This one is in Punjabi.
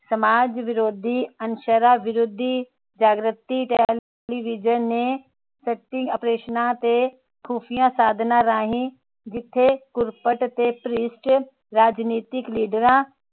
ਸਮਾਜ ਵਿਰੋਧੀ ਅਨਸਰਾਂ ਵਿਰੋਧੀ ਜਾਗ੍ਰਿਤੀ ਟੇਲੀਵਿਜਨ ਨੇ ਓਪਰੇਸ਼ਨ ਤੇ ਖੁਫੀਆ ਸਾਧਨਾਂ ਰਾਹੀ ਰਾਜਨੈਤਿਕ ਲੀਡਰਾਂ